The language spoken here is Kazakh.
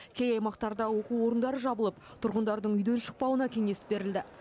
кей аймақтарда оқу орындары жабылып тұрғындардың үйден шықпауына кеңес берілді